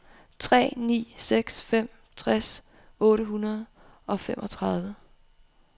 tre ni seks fem tres otte hundrede og femogtredive